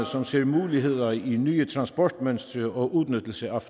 som ser muligheder i nye transportmønstre og udnyttelse af